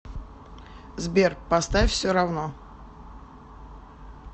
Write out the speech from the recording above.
сбер поставь всеравно